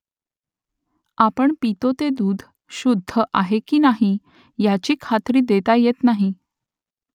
आपण पितो ते दूध शुद्ध आहे की नाही याची खात्री देता येत नाही